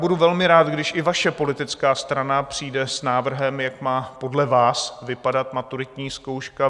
Budu velmi rád, když i vaše politická strana přijde s návrhem, jak má podle vás vypadat maturitní zkouška.